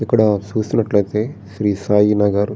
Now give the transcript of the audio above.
ఇక్కడ చూసినట్లయితే శ్రీ సాయి నగర్ --